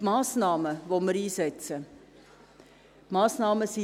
Wir setzen beispielsweise die folgenden Massnahmen ein: